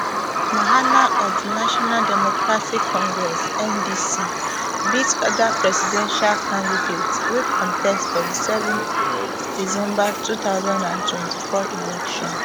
mahama of di national democratic congress ndc beat oda presidential candidates wey contest for di seven december two thousand and twenty-four election